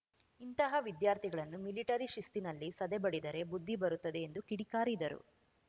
ಇಂತಹ ವಿದ್ಯಾರ್ಥಿಗಳನ್ನು ಮಿಲಿಟರಿ ಶಿಸ್ತಿನಲ್ಲಿ ಸದೆ ಬಡಿದರೆ ಬುದ್ಧಿ ಬರುತ್ತದೆ ಎಂದು ಕಿಡಿಕಾರಿದರು